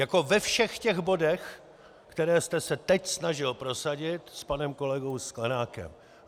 Jako ve všech těch bodech, které jste se teď snažil prosadit s panem kolegou Sklenákem.